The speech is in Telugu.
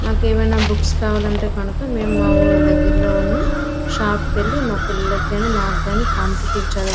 మాకు ఏవైనా బుక్స్ కావాలంటే కనుక మేము మా ఊరు దగ్గర్లో ఉన్న షాప్ కెళ్ళి మా పిల్లలకు కానీ మాకు కానీ --